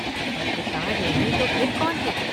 पत्रकार नहीं तो फ़िर कौन है?